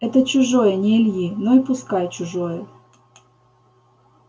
это чужое не ильи но и пускай чужое